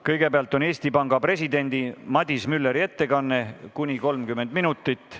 Kõigepealt on Eesti Panga presidendi Madis Mülleri ettekanne, mis kestab kuni 30 minutit.